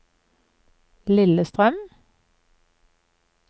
Lillestrøm